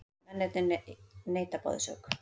Mennirnir neita báðir sök